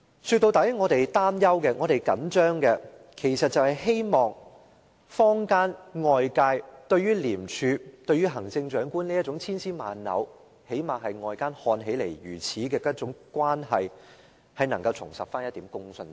說到底，其實我們擔憂和着緊的是，希望坊間、外界對廉署與行政長官這種千絲萬縷的關係——最低限度外界看起來是這樣——能夠重拾一點公信力。